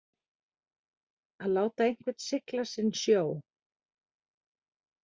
Að láta einhvern sigla sinn sjó